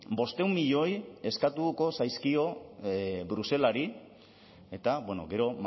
bostehun milioi eskatuko zaizkio bruselari eta gero